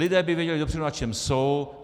Lidé by věděli dopředu, na čem jsou.